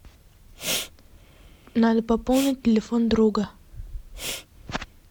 надо пополнить телефон друга